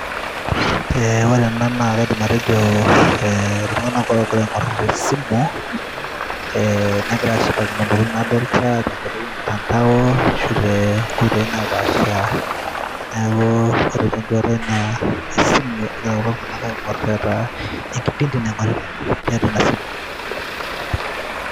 Ore ena naa kaaidim atejo ee iltung'anak oogira aing'orr esimu ee negira aashipakino intokitin naagira aadol tenkoitoi ormutanda ashu toonkoitoi naapasha neeku ore tenduata ai naa esimu egira kulo tung'anak aing'orr enkipindi naing'orita tina simu.